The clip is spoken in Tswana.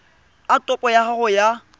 a topo ya gago ya